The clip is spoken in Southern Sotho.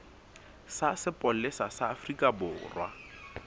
sa sepolesa sa afrika borwa